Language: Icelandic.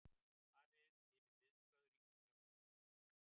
Fara yfir viðbrögð ríkisstjórnar